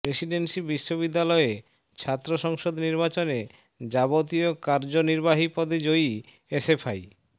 Presidency বিশ্ববিদ্যালয়ে ছাত্র সংসদ নির্বাচনে যাবতীয় কার্যনিবাহী পদে জয়ী এসএফআই